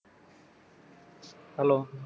hello